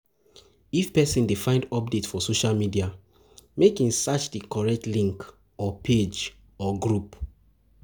If persin de find update for socia media make in search di correct link or page or group